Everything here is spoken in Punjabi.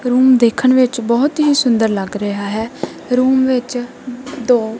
ਰੂਮ ਦੇਖਣ ਵਿੱਚ ਬਹੁਤ ਹੀ ਸੁੰਦਰ ਲੱਗ ਰਿਹਾ ਹੈ ਰੂਮ ਵਿੱਚ ਦੋ--